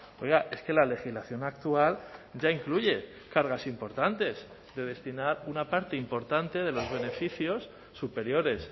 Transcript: oiga es que la legislación actual ya incluye cargas importantes de destinar una parte importante de los beneficios superiores